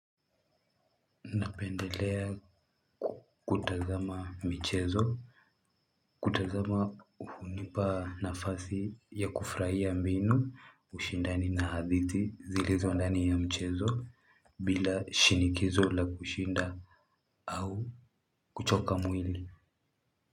Napendelea kutazama michezo, kutazama hunipa nafasi ya kufurahia mbinu, ushindani na hadithi zilizo ndani ya mchezo bila shinikizo la kushinda au kuchoka mwili.